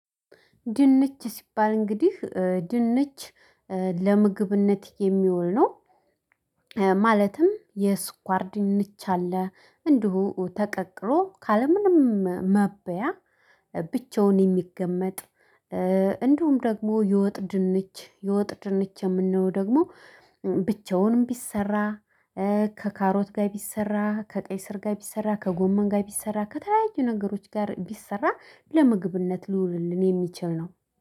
ድንች ሲባል እንግዲህ ድንች ለምግብነት የሚውል ነው። ማለትም የስኳርድንች አለ እንዲሁ ተቀቅሎ ካለምንም መበያ ብቻውን የሚገመጥ። እንደውም ደግሞ የወጥ ድንች የወጥ ድንች የምንለው ደግሞ ብቻውንም ቢሰራ ከካሮት ጋር ቢሰራ ከቀይ ስር ጋር ቢሰራ ከጎመን ጋር ቢሰራ ከተለያዩ ነገሮች ጋር ቢሰራ ለምግብነት ሊውልልን የሚችል ነው